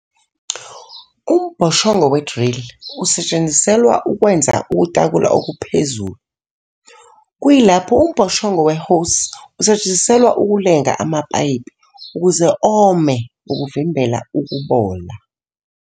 Umbhoshongo we-drill usetshenziselwa ukwenza ukutakula okuphezulu, kuyilapho umbhoshongo we-hose usetshenziselwa ukulenga amapayipi ukuze ome ukuvimbela ukubola.